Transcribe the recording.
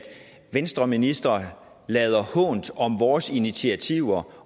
venstreministre lader hånt om vores initiativer